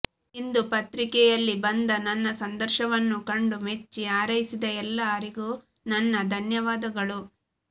ಹಿಂದು ಪತ್ರಿಕೆಯಲ್ಲಿ ಬಂದ ನನ್ನ ಸಂದರ್ಶವನ್ನು ಕಂಡು ಮೆಚ್ಚಿ ಹಾರೈಸಿದ ಎಲ್ಲರಿಗೂ ನನ್ನ ಧನ್ಯವಾದಗಳು